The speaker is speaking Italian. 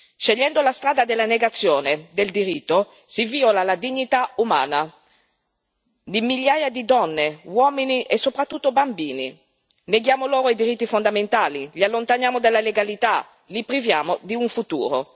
Scegliendo la strada della negazione del diritto si viola la dignità umana di migliaia di donne, uomini e soprattutto bambini, neghiamo loro i diritti fondamentali, li allontaniamo dalla legalità, li priviamo di un futuro.